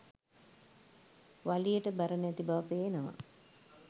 වලියට බර නැති බව පේනවා.